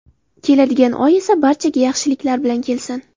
Keladigan oy esa barchaga yaxshiliklar bilan kelsin.